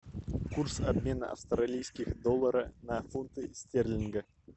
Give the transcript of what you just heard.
курс обмена австралийских доллара на фунты стерлинга